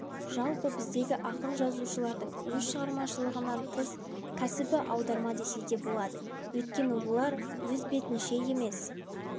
жалпы біздегі ақын-жазушылардың өз шығармашылығынан тыс кәсібі аударма десе де болады өйткені олар өз бетінше емес